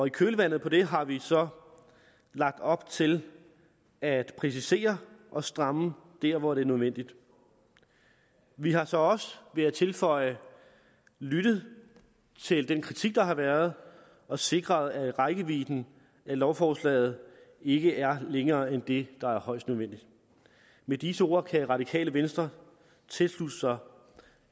i kølvandet på det har vi så lagt op til at præcisere og stramme der hvor det er nødvendigt vi har så også vil jeg tilføje lyttet til den kritik der har været og sikret at rækkevidden af lovforslaget ikke er længere end det der er højst nødvendigt med disse ord kan radikale venstre tilslutte sig